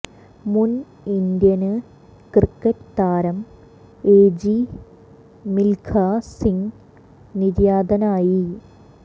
മുന് Indian cricket താരം A G Milkha Singh നിര്യാതനായി